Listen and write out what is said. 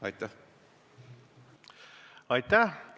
Aitäh!